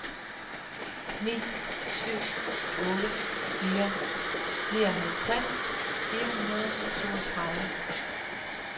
ni syv otte fire nioghalvtreds fire hundrede og toogtredive